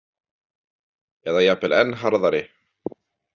Eða jafnvel enn harðari.